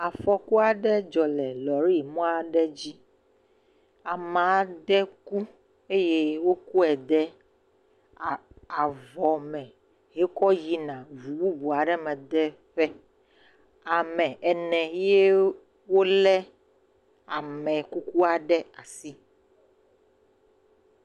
Afɔku aɖe dzɔ le lɔrɛi mɔa dzi. Ame aɖe ku eye wokɔe de aaaa avɔ me wokɔ yina ʋu bubu aɖe me de ƒe. Am ene ye le ame kukua ɖe asi.